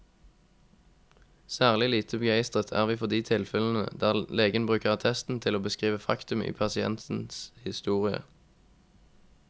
Særlig lite begeistret er vi for de tilfellene der legen bruker attesten til å beskrive faktum i pasientens historie.